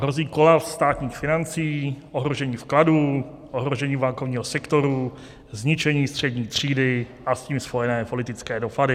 Hrozí kolaps státních financí, ohrožení vkladů, ohrožení bankovního sektoru, zničení střední třídy a s tím spojené politické dopady.